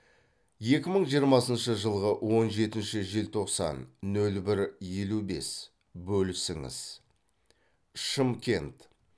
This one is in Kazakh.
екі мың жиырмасыншы жылғы он жетінші желтоқсан нөл бір елу бес бөлісіңіз шымкент